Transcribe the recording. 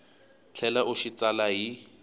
tlhela u xi tsala hi